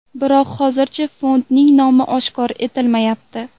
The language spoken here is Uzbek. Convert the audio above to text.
Biroq hozircha fondning nomi oshkor etilmayapti.